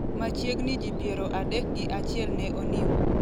machiegni ji piero adek gi achiel ne onimo